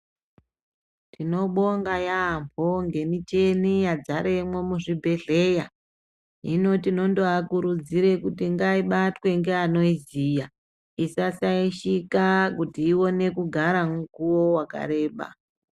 Tinobonga yambo ngemicheni yadzaremwo muzvibhehleya. Hino tinondoakuridzire kuti ngaibatwe ngeanoiziya isasaishika kuti ione kugara mukuwo wakareba.